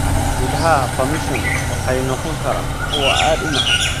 Midhaha persimmon waxay noqon karaan kuwa aad u macaan.